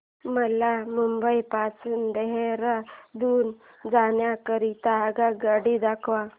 मला मुंबई पासून देहारादून जाण्या करीता आगगाडी दाखवा